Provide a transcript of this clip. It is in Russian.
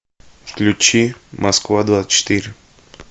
включи москва двадцать четыре